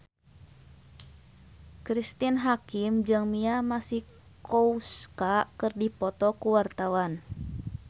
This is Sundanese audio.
Cristine Hakim jeung Mia Masikowska keur dipoto ku wartawan